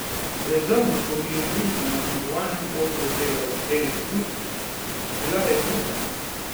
Brezovnikovi je družbo na zmagovalnem odru delala Eli Plut, bila je druga.